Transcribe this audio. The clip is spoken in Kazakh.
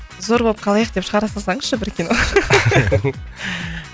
зор болып қалайық деп шығара салсаңызшы бір кино